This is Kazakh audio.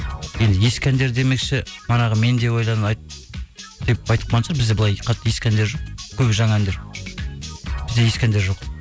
енді ескі әндер демекші манағы мен деп ойланы деп айтып қалған шығар бізде былай қатты ескі әндер жоқ көбі жаңа әндер бізде ескі әндер жоқ